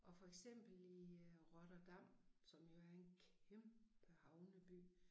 Og for eksempel i øh Rotterdam som jo er en kæmpe havneby